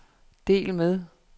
del med